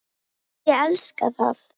Ég elska það.